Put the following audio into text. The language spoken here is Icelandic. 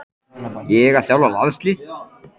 Ég að þjálfa landslið?